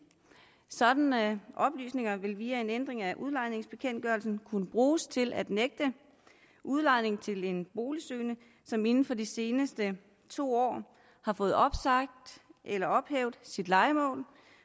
sådanne oplysninger vil via en ændring af udlejningsbekendtgørelsen kunne bruges til at nægte udlejning til en boligsøgende som inden for de seneste to år har fået opsagt eller ophævet sit lejemål